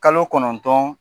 Kalo kɔnɔntɔn